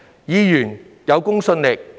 議員需有公信力。